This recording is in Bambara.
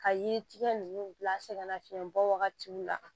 Ka yiri tigɛ ninnu bila sɛgɛnnafiɲɛbɔ wagatiw la